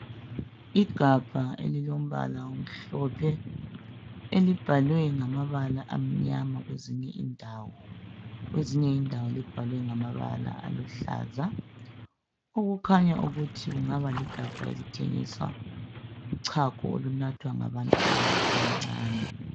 Ifabha elilombala omhlophe elibhalwe ngamabala amnyama kwezinye indawo, kwezinye indawo libhalwe ngamabala aluhlaza okukhanya ukuthi kungaba ligabha elithengisa uchago olunathwa ngabantwana abancane.